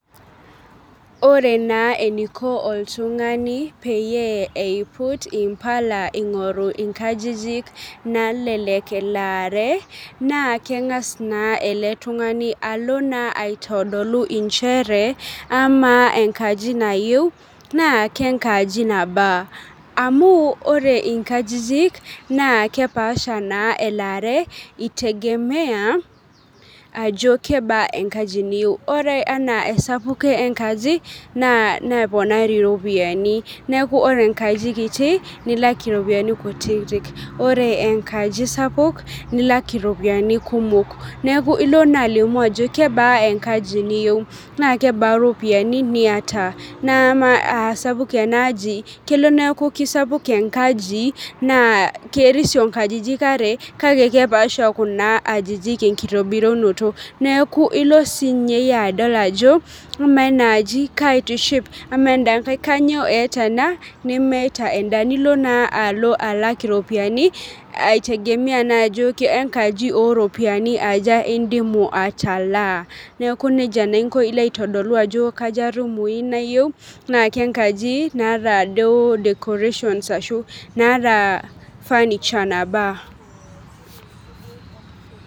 Ore naa eniko oltung'ani peyie eiput impala ing'oru inkajijik nalelek elaare naa keng'as naa ele tung'ani alo naa aitodolu inchere amaa enkaji nayieu naa kenkaji nabaa amu ore inkajijik naa kepasha naa elaare itegemea ajo kebaa enkaji niyeu ore anaa esapuko enkaji naa neponari iropiyiani niaku ore enkaji kiti nilak iropiyiani kutitik ore enkaji sapuk nilak iropiyiani kumok neku ilo naa alimu ajo kebaa enkaji niyieu naa kebaa iropiyiani niyata naa amaa asapuk enaaji kelo neeku kisapuk enkaji naa kerisio inkajijik are kake kepaasha kuna ajijik enkitobirunoto neeku ilo sinye iyie adol ajo amaa ena aji kaitiship amaa enda nkae kanyoo eeta ena nemeeta enda nilo naa alo alak iropiani aitegemea naa ajo ke enkaji oropiani aja indimu atalaa neku nejia naa inko ilo aitodolu ajo kaja irumui nayiei naa kenkaji naata duo decorations ashu naata furniture nabaa.